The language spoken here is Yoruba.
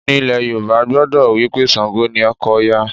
Ní ilẹ̀ Yorùbá, a gbàgbọ́ wí pé Ṣàǹgò ni ọkọ Òya